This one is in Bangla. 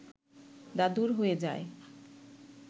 দাদুর হয়ে যায়